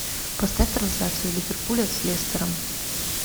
поставь трансляцию ливерпуля с лестером